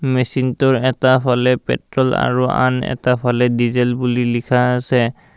মেচিনটোৰ এটা ফালে পেট্ৰল আৰু আন এটা ফালে ডিজেল বুলি লিখা আছে।